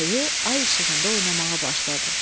Ayı ay işığında oynamağa başladı.